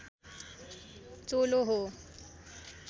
चोलो हो